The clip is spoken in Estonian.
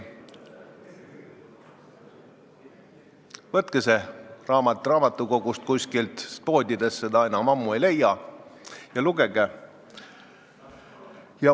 Võtke see raamat raamatukogust, sest poodidest seda enam ammu ei leia, ja lugege.